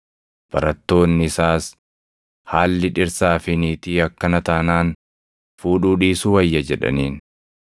Barattoonni isaas, “Haalli dhirsaa fi niitii akkana taanaan fuudhuu dhiisuu wayya” jedhaniin.